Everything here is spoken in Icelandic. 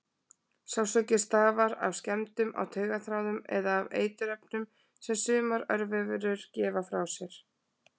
Sársauki stafar af skemmdum á taugaþráðum eða af eiturefnum sem sumar örverur gefa frá sér.